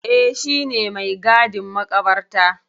Eh, shi ne mai gadin maƙabarta.